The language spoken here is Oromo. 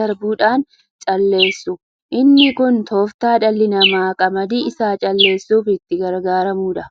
darbuudhaan calleessu. Inni kun toofta dhalli namaa qamadii isaa calleessuf itti gargaaramuudha.